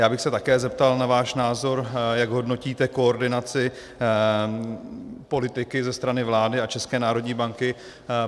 Já bych se také zeptal na váš názor, jak hodnotíte koordinaci politiky ze strany vlády a České národní banky.